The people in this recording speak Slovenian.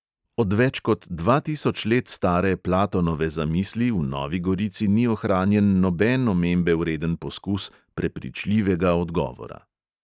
Od več kot dva tisoč let stare platonove zamisli v novi gorici ni ohranjen noben omembe vreden poskus prepričljivega odgovora.